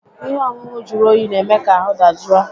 Ihe ọṅụṅụ jụrụ oyi n'eme ka ahụ dajụ a